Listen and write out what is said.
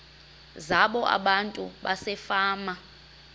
zabo abantu basefama